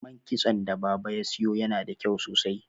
man kitson da baba ya siyo yana da kyau sosai